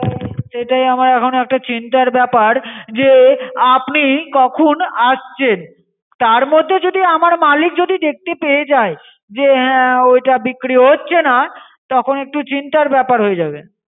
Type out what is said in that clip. সেটাই আমার এখন একটা চিন্তার ব্যাপার যে আপনি কখন আসছেন, তার মদ্যে যদি আমার মালিক যদি দেখতে পায়ে যায় যে হ্যাঁ ওইটা বিক্রি হচ্ছে না তখন একটু চিন্তার ব্যাপার হয়ে যাবে।